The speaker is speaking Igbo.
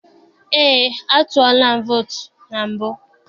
Eé, a tụọla m vootu na mbụ.